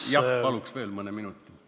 Jah, paluks veel mõne minuti!